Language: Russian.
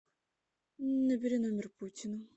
набери номер путина